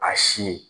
A si